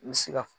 I bɛ se ka